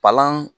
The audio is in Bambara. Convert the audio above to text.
Palan